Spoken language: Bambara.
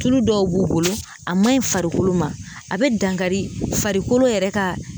Tulu dɔw b'u bolo a man ɲi farikolo ma a bɛ dankari farikolo yɛrɛ ka.